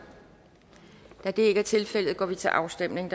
da det ikke er tilfældet går vi til afstemning